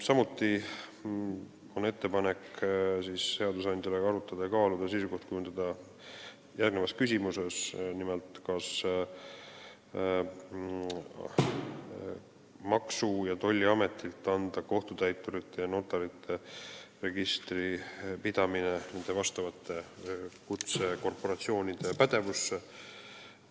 Samuti on ettepanek seadusandjale arutada ja kaaluda järgmist küsimust ning kujundada selles asjas seisukoht: nimelt, kas tuleks kohtutäiturite ja notarite registri pidamine, millega tegeleb Maksu- ja Tolliamet, anda vastavate kutsekorporatsioonide pädevusse.